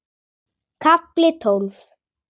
KAFLI TÓLF